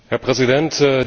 Herr Präsident!